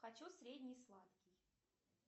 хочу средний сладкий